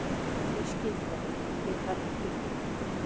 Því skyldari, því hærri fylgni.